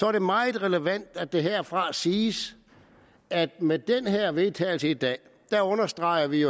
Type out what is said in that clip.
er det meget relevant at det herfra siges at med det her vedtagelse i dag understreger vi